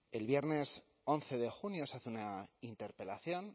el viernes once de junio se hace una interpelación